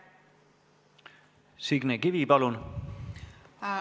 Signe Kivi, palun!